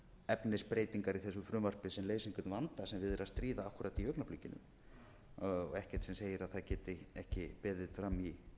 efnisbreytingar í þessu frumvarpi sem leysa einhvern vanda sem við er að stríða akkúrat í augnablikinu og ekkert sem segir að það geti ekki beðið fram í